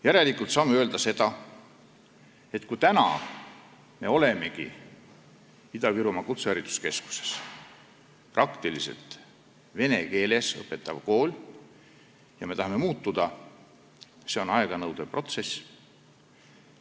Järelikult saame öelda, et täna on Ida-Virumaa Kutsehariduskeskus praktiliselt vene keeles õpetav kool ja me tahame muutuda, aga see on aega nõudev protsess.